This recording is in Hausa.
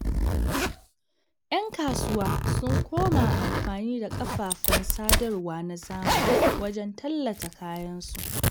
Yan kasuwa sun koma amfani da kafafen sadarwa na zamani wajen tallata kayansu.